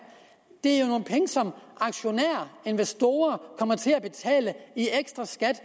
det er jo nogle som aktionærer og investorer kommer til at betale i ekstra skat